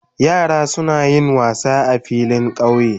Yara suna yin wassa sa filin kauye.